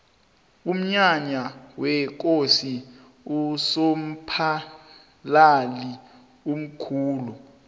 umnyanya wekosi usomphalili mkhulu